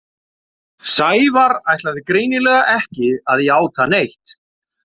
Sævar ætlaði greinilega ekki að játa neitt.